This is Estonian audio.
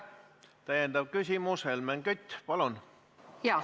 Täiendav küsimus, Helmen Kütt, palun!